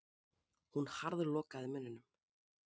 Hún harðlokaði munninum.